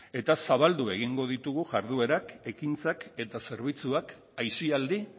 eta zabaldu egingo ditugu jarduerak ekintzak eta zerbitzuak aisialdi